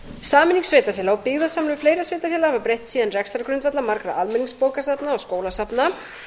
sameining sveitarfélaga og byggðasamlög fleiri en sveitarfélaga hafa breytt síðan rekstrargrundvelli margra almenningsbókasafna og skólasafna